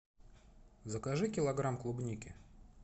закажи килограмм клубники